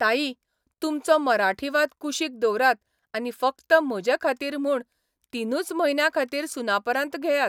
ताई, तुमचो मराठीवाद कुशीक दवरात आनी फकत म्हजे खातीर म्हूण तिनूच म्हयन्यांखातीर सुनापरान्त घेयात.